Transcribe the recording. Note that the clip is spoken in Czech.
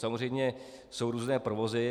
Samozřejmě jsou různé provozy.